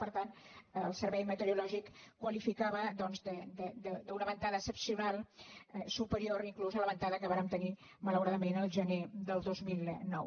per tant el servei meteorològic ho qualificava d’una ventada excepcional superior inclús a la venta·da que vàrem tenir malauradament el gener de dos mil nou